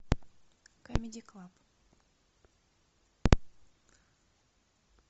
камеди клаб